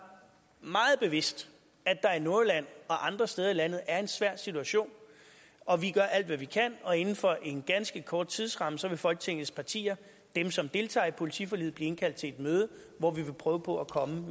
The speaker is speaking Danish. meget bevidst at der i nordjylland og andre steder i landet er en svær situation og vi gør alt hvad vi kan og inden for en ganske kort tidsramme vil folketingets partier dem som deltager i politiforliget blive indkaldt til et møde hvor vi vil prøve på at komme